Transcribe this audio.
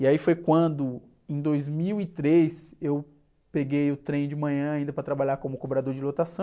E aí foi quando, em dois mil e três, eu peguei o trem de manhã ainda para trabalhar como cobrador de lotação.